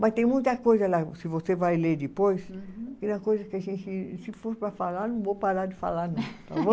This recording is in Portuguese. Mas tem muita coisa lá, se você vai ler depois, que é uma coisa que a gente, se for para falar, não vou parar de falar não, tá bom?